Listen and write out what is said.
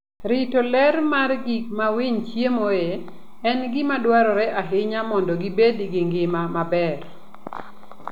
Rito ler mar gik ma winy chiemoe en gima dwarore ahinya mondo gibed gi ngima maber.